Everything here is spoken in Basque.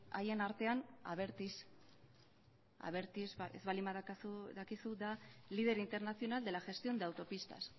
haien artean abertis abertis ez baldin badakizu da líder internacional de la gestión de autopistas